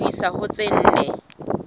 ho isa ho tse nne